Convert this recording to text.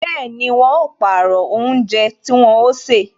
Bẹẹni, wọn ó pàrọ̀ oúnjẹ tí wọn ó ṣe